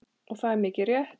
Og það er mikið rétt.